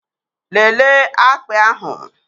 Lelee akpị ahụ!